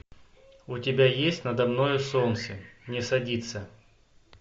у тебя есть надо мною солнце не садится